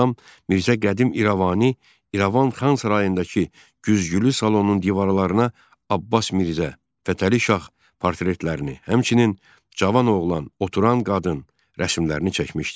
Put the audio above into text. Rəssam Mirzə Qədim İrəvani İrəvan Xan sarayındakı güzgülü salonun divarlarına Abbas Mirzə, Fətəli Şah portretlərini, həmçinin Cavan oğlan, oturan qadın rəsmlərini çəkmişdi.